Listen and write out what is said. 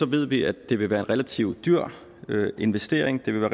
ved vi at det vil være en relativt dyr investering det vil